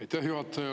Aitäh, juhataja!